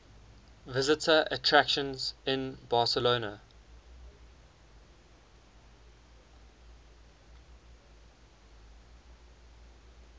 visitor attractions in barcelona